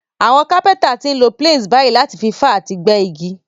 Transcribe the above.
Àwon Kápẹ́ńtà ti n lo planes bàyí láti fi fá àti gbẹ́ igi